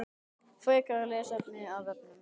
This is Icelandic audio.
Frekara lesefni af vefnum